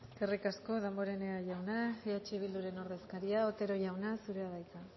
eskerrik asko damborenea jauna eh bilduren ordezkaria otero jauna zurea da hitza